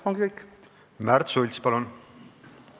Märt Sults, palun!